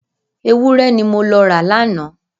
Ewúrẹ́ ni mo lọ ra lánàá.